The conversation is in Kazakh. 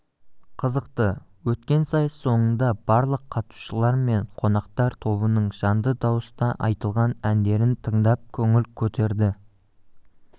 қызықты өткен сайыс соңында барлық қатысушылар мен қонақтар тобының жанды дауыста айтылған әндерін тыңдап көңіл көтерді